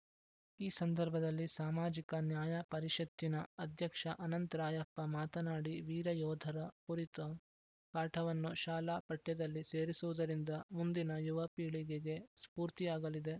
ಈ ಸಂದರ್ಭದಲ್ಲಿ ಸಾಮಾಜಿಕ ನ್ಯಾಯ ಪರಿಷತ್ತಿನ ಅಧ್ಯಕ್ಷ ಅನಂತ್ ರಾಯಪ್ಪ ಮಾತನಾಡಿ ವೀರ ಯೋಧರ ಕುರಿತು ಪಾಠವನ್ನು ಶಾಲಾ ಪಠ್ಯದಲ್ಲಿ ಸೇರಿಸುವುದರಿಂದ ಮುಂದಿನ ಯುವ ಪೀಳಿಗೆಗೆ ಸ್ಫೂರ್ತಿಯಾಗಲಿದೆ